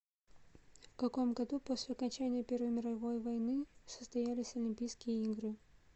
в каком году после окончания первой мировой войны состоялись олимпийские игры